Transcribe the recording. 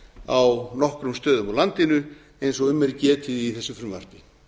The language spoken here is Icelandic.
á nokkrum stöðum á landinu eins og um er getið í þessu frumvarpi